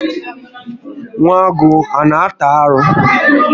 Nwa agụ ana ata arụ?